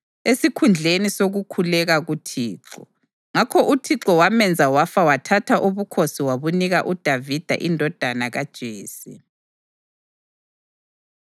esikhundleni sokukhuleka kuThixo. Ngakho uThixo wamenza wafa wathatha ubukhosi wabunika uDavida indodana kaJese.